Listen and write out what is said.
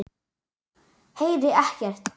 Heyri ekkert.